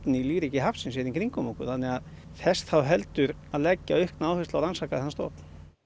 í lífríki hafsins hér í kringum okkur þess þá heldur að leggja aukna áherslu á að rannsaka þennan stofn